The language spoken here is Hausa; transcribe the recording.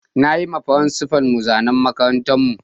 Na yi ma frincipa'n mu zanan makarantan mu.